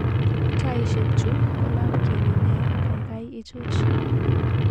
Taishek chu kolabkyeni nea kaikai ichuch